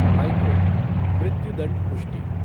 high court मुत्युदंड पुष्टि